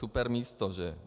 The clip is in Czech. Super místo, že.